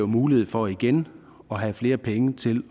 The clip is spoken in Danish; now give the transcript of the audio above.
mulighed for igen at have flere penge til